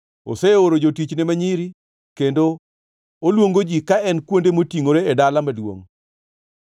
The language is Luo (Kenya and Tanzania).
Oseoro jotichne ma nyiri, kendo oluongo ji ka en kuonde motingʼore e dala maduongʼ.